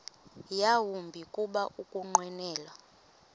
yawumbi kuba ukunqwenela